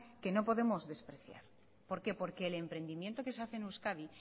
que no podemos despreciar por qué porque el emprendimiento que se hace en euskadi